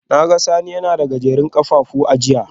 Na ga Sani yana da Gajerun kafafu a jiya